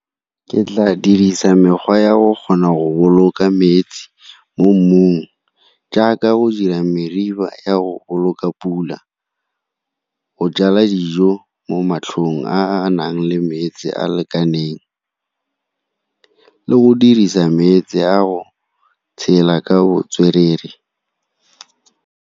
Ke tla dirisa mekgwa ya go kgona go boloka metsi mo mmung jaaka go dira ya go boloka pula, go jala dijo mo matlhong a a nang le metsi a lekaneng, le go dirisa metse a go tshela ka botswerere.